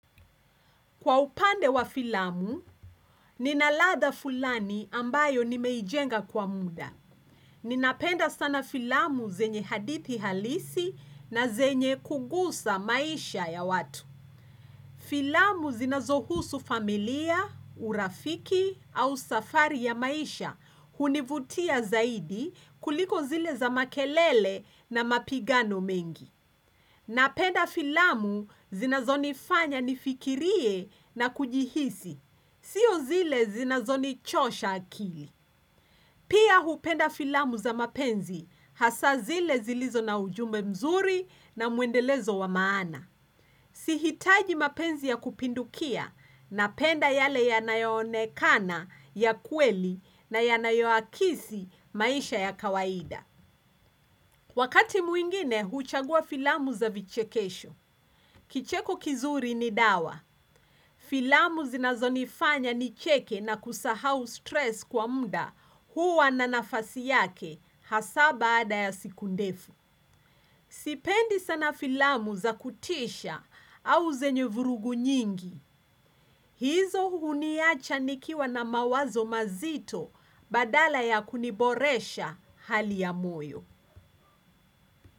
Kwa upande wa filamu, ninaladha fulani ambayo nimeijenga kwa muda. Ninapenda sana filamu zenye hadithi halisi na zenye kugusa maisha ya watu. Filamu zinazohusu familia, urafiki au safari ya maisha hunivutia zaidi kuliko zile za makelele na mapigano mengi. Napenda filamu zinazonifanya nifikirie na kujihisi. Sio zile zinazonichosha akili. Pia hupenda filamu za mapenzi hasa zile zilizo na ujumbe mzuri na mwendelezo wa maana. Sihitaji mapenzi ya kupindukia napenda yale yanayo onekana ya kweli na yanayoakisi maisha ya kawaida. Wakati mwingine, huchagua filamu za vichekesho. Kicheko kizuri ni dawa. Filamu zinazonifanya nicheke na kusahau stress kwa muda huwa na nafasi yake hasa baada ya siku ndefu. Sipendi sana filamu za kutisha au zenye vurugu nyingi. Hizo huniacha nikiwa na mawazo mazito badala ya kuniboresha hali ya moyo.